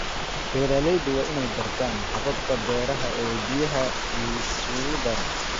Beeraleydu waa inay bartaan hababka beeraha ee biyaha la isugu daro.